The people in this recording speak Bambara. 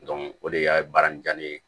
o de y'a baara in diya ne ye